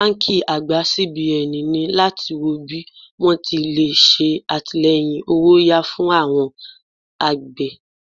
Báńkì àgbà CBN ní láti wọ bí wón ti lè ṣe àtìleyìn owó'yá fún awon àgbè.